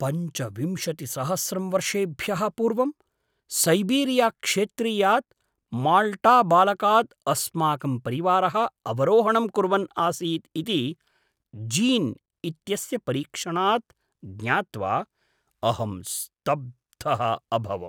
पञ्चविंशतिसहस्रं वर्षेभ्यः पूर्वं सैबीरिया क्षेत्रीयात् माल्टाबालकात् अस्माकं परिवारः अवरोहणं कुर्वन् आसीत् इति जीन् इत्यस्य परीक्षणात् ज्ञात्वा अहं स्तब्धः अभवम्।